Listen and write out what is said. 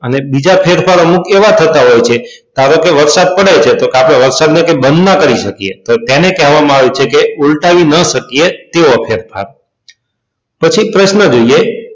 અને બીજા ફેરફાર અમુક એવા થતા હોય છે ધારો કે વરસાદ પડે છે તો વરસાદની કઈ બંધ ન કરી શકીએ તો તેને કહેવામાં આવે છે કે ઉલટાવી ન શકીએ તેવો ફેરફાર. પછી પ્રશ્ન જોઈએ.